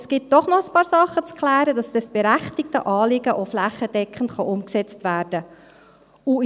Es gibt doch noch ein paar Dinge zu klären, damit dieses berechtigte Anliegen auch flächendeckend umgesetzt werden kann.